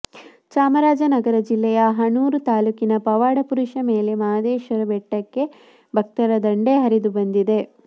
ಚಾಮರಾಜನಗರ ಜಿಲ್ಲೆಯ ಹನೂರು ತಾಲೂಕಿನ ಪವಾಡ ಪುರುಷ ಮಲೆ ಮಹದೇಶ್ವರನ ಬೆಟ್ಟಕ್ಕೆ ಭಕ್ತರ ದಂಡೆ ಹರಿದು ಬಂದಿದೆ